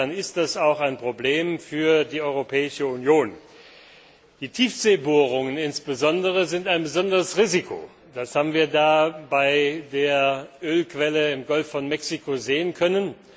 Insofern ist das auch ein Problem für die Europäische Union. Die Tiefseebohrungen insbesondere sind ein besonderes Risiko. Das haben wir bei der Ölquelle im Golf von Mexiko sehen können.